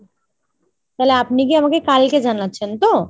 তালে আপনি কি আমাকে কালকে জানাচ্ছেন তো ?